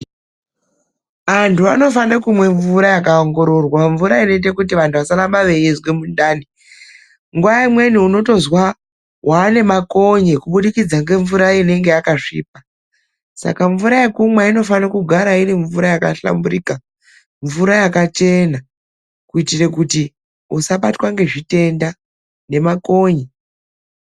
Anthu anofanire kumwa mvura yakaongororwa. Mvura inoite kuti vanhu vasaramba veizwe mundani. Nguva imweni unotozwa waane makonye, kubudikidza ngemvura inenge yakasvipa. Saka mvura yekumwa inofanira kugara iri mvura yakahlamburika, mvura yakachena kuitire kuti usabatwa ngezvitenda, ngemakonye.